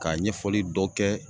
Ka ɲɛfɔli dɔ kɛ